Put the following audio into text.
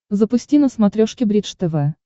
запусти на смотрешке бридж тв